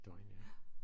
Døgn ja